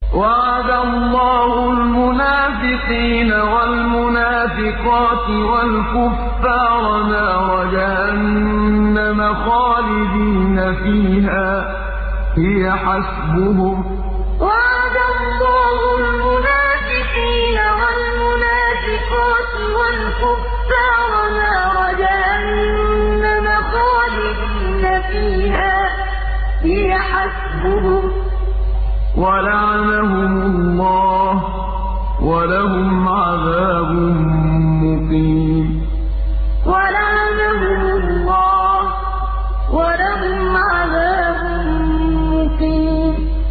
وَعَدَ اللَّهُ الْمُنَافِقِينَ وَالْمُنَافِقَاتِ وَالْكُفَّارَ نَارَ جَهَنَّمَ خَالِدِينَ فِيهَا ۚ هِيَ حَسْبُهُمْ ۚ وَلَعَنَهُمُ اللَّهُ ۖ وَلَهُمْ عَذَابٌ مُّقِيمٌ وَعَدَ اللَّهُ الْمُنَافِقِينَ وَالْمُنَافِقَاتِ وَالْكُفَّارَ نَارَ جَهَنَّمَ خَالِدِينَ فِيهَا ۚ هِيَ حَسْبُهُمْ ۚ وَلَعَنَهُمُ اللَّهُ ۖ وَلَهُمْ عَذَابٌ مُّقِيمٌ